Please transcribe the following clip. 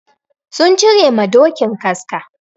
Sun cire ma dokin kaska.